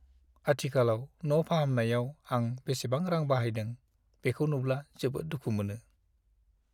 आथिखालाव न' फाहामनायाव आं बेसेबां रां बाहायदों, बेखौ नुब्ला जोबोद दुखु मोनो।